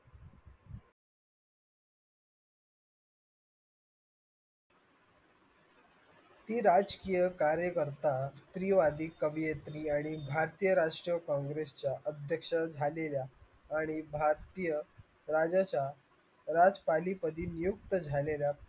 ती राजकीय कार्यकर्ता स्त्रीवादी कवियत्री आणि भारतीय राष्ट्रीय congress च्या अध्यक्ष झालेल्या मी भारतीय राज्याच्या राष्ट्रपालि प्रति नियुक्त झालेल्या